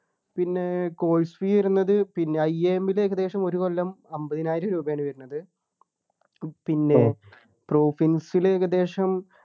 പിന്നെ course fee വരുന്നത് പിന്നെ I am ലു ഏകദേശം ഒരു കൊല്ലം അമ്പതിനായിരം രൂപയാണ് വരുന്നത് പിന്നെ പ്രൊഫിൻസ് ലു ഏകദേശം